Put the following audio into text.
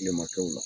Kilema kɛw